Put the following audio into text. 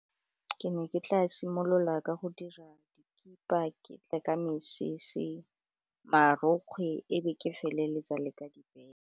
Ke ne ke tla simolola ka go dira dikipa, ke tle ke mesese, marokgwe e be ke feleletsa le ka dibeke.